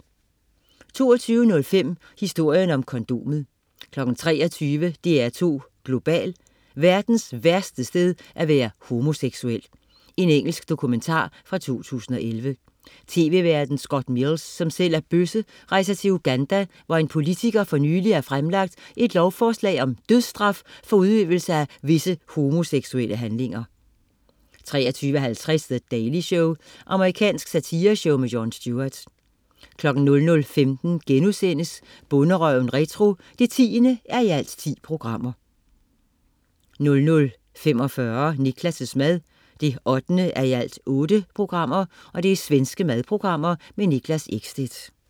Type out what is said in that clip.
22.05 Historien om kondomet 23.00 DR2 Global: Verdens værste sted at være homoseksuel. Engelsk dokumentar fra 2011. TV-værten Scott Mills, som selv er bøsse, rejser til Uganda, hvor en politiker for nyligt har fremlagt et lovforslag om dødsstraf for udøvelse af visse homoseksuelle handlinger 23.50 The Daily Show. Amerikansk satireshow. Jon Stewart 00.15 Bonderøven retro 10:10* 00.45 Niklas' mad 8:8. Svensk madprogram. Niklas Ekstedt